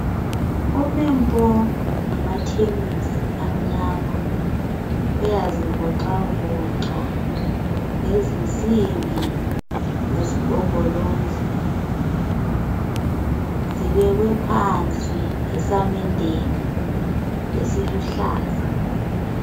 Ume mpo ngamathenisi amnyama, uyazivoxavoxa ngezinsimbi zesigombolozi, zibekwe phansi esamendeni esiluhlaza